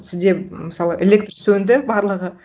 сізде мысалы электр сөнді барлығы